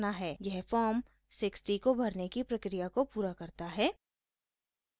यह फॉर्म 60 को भरने की प्रक्रिया को पूरा करता है